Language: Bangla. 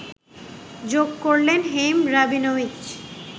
যোগ করলেন হেইম রাবিনোউইচ